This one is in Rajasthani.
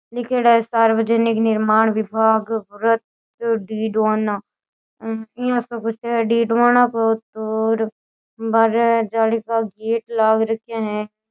लिखेड़ा है सार्वजानिक निर्माण विभाग वृत्त डीडवाना इया सो कुछ है डीडवाना को तो और बाहरे जाली का गेट लाग रखे है।